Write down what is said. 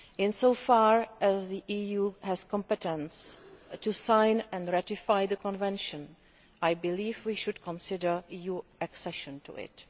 Insofar as the EU has competence to sign and ratify the Convention, I believe we should consider EU accession to it.